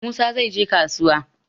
Musa zai je kasuwa.